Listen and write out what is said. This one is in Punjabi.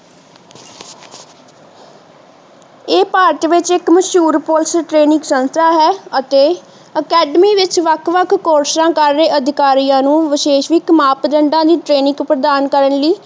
ਇਹ ਭਾਰਤ ਵਿਚ ਇੱਕ ਮਸ਼ਹੂਰ ਪੁਲਿਸ ਟ੍ਰੇਨਿੰਗ ਸੰਸਥਾ ਹੈ ਅਤੇ academy ਵਿਚ ਵੱਖ ਵੱਖ ਕੋਰਸਾਂ ਕਰ ਰਹੇ ਅਧਿਕਾਰੀਆਂ ਨੂੰ ਵਿਸ਼ੇਸਵਿਕ ਮਾਪਦੰਡਾ ਦੀ ਟ੍ਰੇਨਿਗ ਪ੍ਰਦਾਨ ਕਰਨ ਲਈ